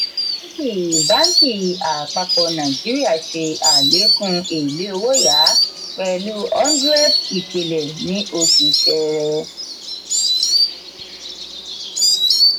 báǹkì báǹkì àpapọ̀ nàìjíríà ṣe àlékún èlé owó-yá pẹ̀lú one hundred ìpìlè ní oṣù ṣẹrẹ.